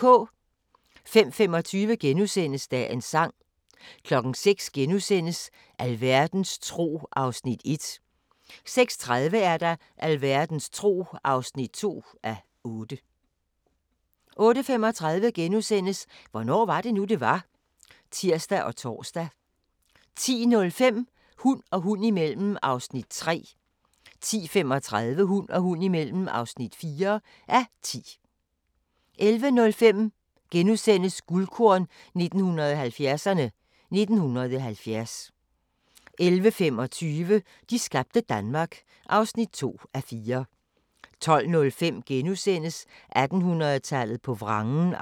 05:25: Dagens Sang * 06:00: Alverdens tro (1:8)* 06:30: Alverdens tro (2:8) 08:35: Hvornår var det nu, det var? *(tir og tor) 10:05: Hund og hund imellem (3:10) 10:35: Hund og hund imellem (4:10) 11:05: Guldkorn 1970'erne: 1970 * 11:25: De skabte Danmark (2:4) 12:05: 1800-tallet på vrangen (2:8)*